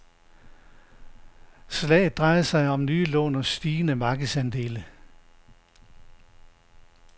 Slaget drejer sig om nye lån og stigende markedsandele.